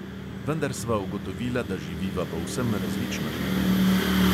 Vendar sva ugotovila, da živiva povsem različno življenje.